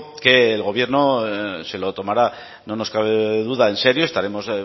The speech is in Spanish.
que el gobierno se lo tomará no nos cabe duda en serio estaremos